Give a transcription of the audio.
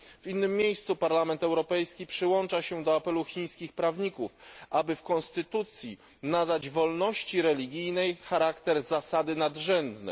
W innym miejscu Parlament Europejski przyłącza się do apelu chińskich prawników, aby w konstytucji nadać wolności religijnej charakter zasady nadrzędnej.